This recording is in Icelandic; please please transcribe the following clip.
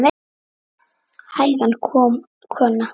Hægan kona!